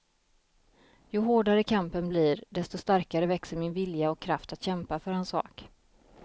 Ju hårdare kampen blir, desto starkare växer min vilja och kraft att kämpa för hans sak.